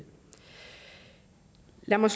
lad mig